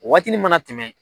Waatini mana tɛmɛ